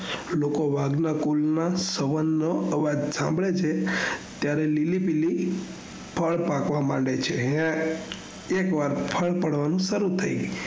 લાકો વાઘ ના કુવી માં સવ્ન્મો અવાજ સાભળે છે ત્યારે લીલી પીળી ફળ પાકવા માંગે છે હે એક વાર ફળ પડવાનું સરુ થઇ